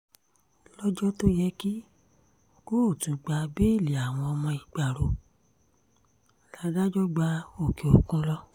lọ́jọ́ tó yẹ kí kóòtù gba bẹ́ẹ́lí àwọn ọmọ ìgbárò ládájọ́ gba òkè òkun lọ